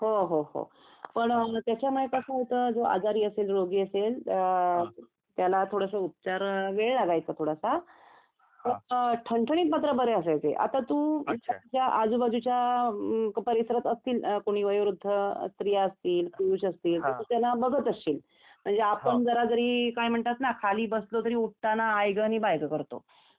हो हो हो पण त्याचा मुळे कसा होता जो आजारी असेल रोगी असेल त्याला थोडस उपचार वेळ लागायचं थोडासा पण ठणठणीत मात्र बरे असायचे आता तू तुझ्या आजूबाजूच्या परिसरात असतील कोणी वयोवृद्ध स्त्रिया असतील पुरुष असतील तर तू त्यांना बघत असशील म्हणजे आपण जरा जरी खाली बसलो तरी उठताना आईग आणि बाईग करतो